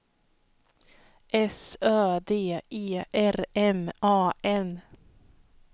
S Ö D E R M A N